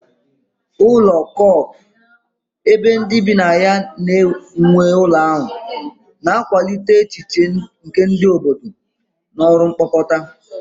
Ụlọ co-op, ebe ndị bi na-ekerịta nwe ụlọ ahụ, na-akwalite echiche nke obodo na ọrụ mkpokọta.